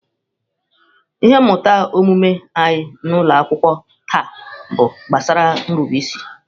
Ihe mmụta omume anyị n’ụlọ akwụkwọ taa bụ gbasara nrube isi.